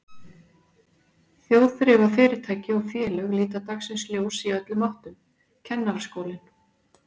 Þjóðþrifafyrirtæki og félög líta dagsins ljós í öllum áttum, Kennaraskólinn